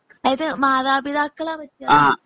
അതായത് മാതാപിതാക്കളെ വെച്ചാണോ?